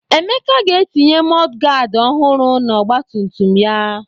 Emeka ga-etinye mọdụgaadị ọhụrụ n'ọgbatumtum ya.